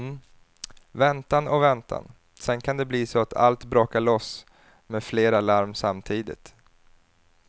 Väntan och väntan, sedan kan det bli så att allt brakar loss med flera larm samtidigt.